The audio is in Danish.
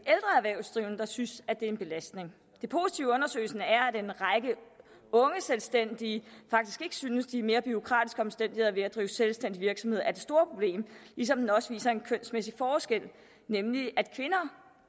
erhvervsdrivende der synes at det er en belastning det positive i undersøgelsen er at en række unge selvstændige faktisk ikke synes at de mere bureaukratiske omstændigheder ved at drive selvstændig virksomhed er det store problem ligesom den også viser en kønsmæssig forskel nemlig at kvinder